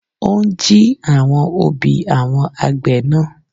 Ó ń jí àwọn òbí àwọn àgbẹ̀ náà.